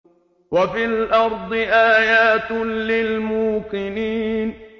وَفِي الْأَرْضِ آيَاتٌ لِّلْمُوقِنِينَ